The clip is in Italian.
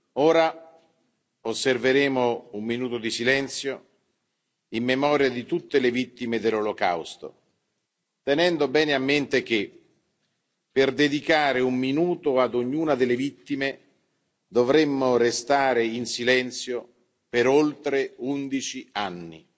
Ora osserveremo un minuto di silenzio in memoria di tutte le vittime dell'Olocausto, tenendo bene a mente che per dedicare un minuto ad ognuna delle vittime, dovremmo restare in silenzio per oltre undici anni.